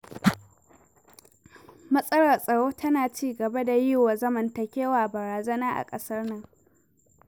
Matsalar tsaro tana ci gaba da yi wa zamantakewa barazana a ƙasar nan.